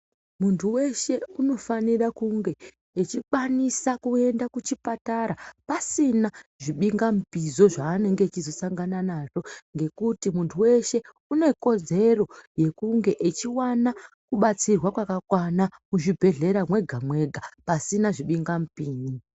Muntu weshe unofanire kunge echikwanise kuenda kuchipatara pasina zvibingamupizo zvaanenge echizosangana nazvo ngekuti muntu weshe unekodzero yekunge achiwana kubatsirwa kwakakwana muzvbhehlera mwegamwega pasina zvibinga mupini.